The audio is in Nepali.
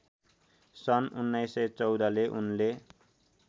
सन् १९१४ ले उनले